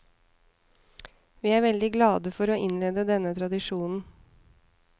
Vi er veldig glade for å innlede denne tradisjonen.